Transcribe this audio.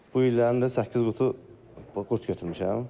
Bu il də səkkiz qutu qurd götürmüşəm.